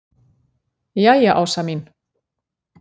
Jæja Ása mín.